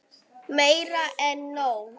Meira en nóg.